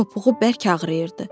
Topuğu bərk ağrıyırdı.